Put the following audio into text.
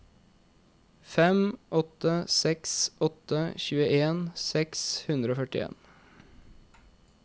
fem åtte seks åtte tjueen seks hundre og førtien